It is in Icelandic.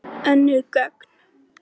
Önnur gögn.